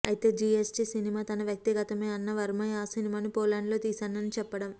అయితే జీఎస్టీ సినిమా తన వ్యక్తిగతమే అన్న వర్మ ఆ సినిమాను పోలాండ్ లో తీసానని చెప్పడం